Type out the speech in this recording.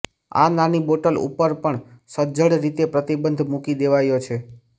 આ નાની બોટલ ઉપર પણ સજ્જડ રીતે પ્રતિબંધ મુકી દેવાયો છે